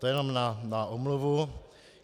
To jenom na omluvu.